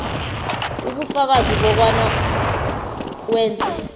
ubufakazi bokobana wenze